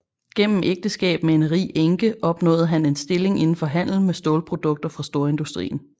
Gennem ægteskab med en rig enke opnåede han en stilling indenfor handel med stålprodukter fra storindustrien